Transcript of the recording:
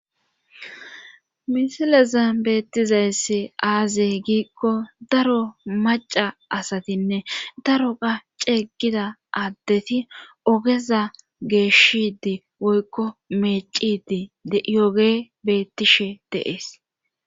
Misilezan beettizayssi aaze giikko daro maca asatinne daro qa ceeggida addeti ogeza geeshshidi woykko meecidi diyoge beettishe deees.